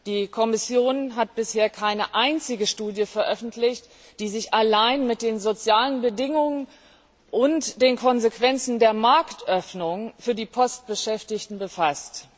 Die Kommission hat bisher keine einzige Studie veröffentlicht, die sich allein mit den sozialen Bedingungen und den Konsequenzen der Marktöffnung für die Postbeschäftigten befasst.